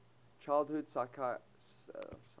childhood psychiatric disorders